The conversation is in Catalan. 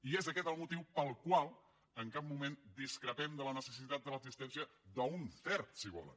i és aquest el motiu pel qual en cap moment discrepem de la necessitat de l’existència d’un cert si volen